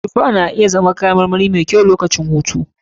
Tufa na iya zama kayan marmari mai kyau lokacin hutu.